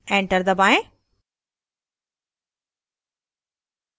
enter दबाएं